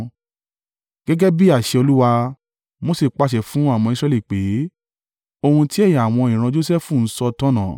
Gẹ́gẹ́ bí àṣẹ Olúwa, Mose pàṣẹ fún àwọn ọmọ Israẹli pé, “Ohun ti ẹ̀yà àwọn ìran Josẹfu ń sọ tọ̀nà.